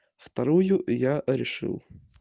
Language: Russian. вторую я решил